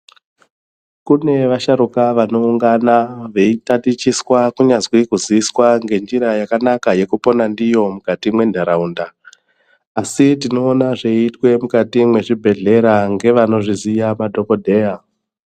Kune vasharukwa vanoungana veitatichiswa kunyazwi kuziviswa ngenjira yakanaka yekupona ndiyo mukati mwentaraunda asi tinoona zveiitwa mukati mwezvibhehlera ngevanozviziya madhokotera.